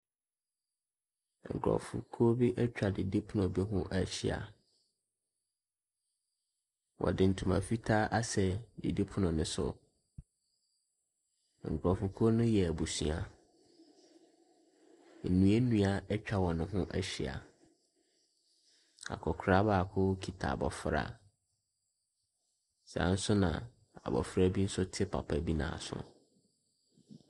Nkurɔfokuo bi atwa didipono bi ho ahyia, wɔde ntoma fitaa asɛn didipono ne so, nkurɔfokuo no yɛ abusua. Nnuannua atwa wɔn ho ahyia, akɔkora baako kita abɔfra, saa nso na abɔfra bi nso te papa bi nan so.